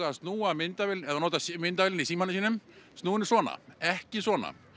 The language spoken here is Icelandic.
að snúa myndavélinni ef það notar myndavélina í símanum snúa henni svona ekki svona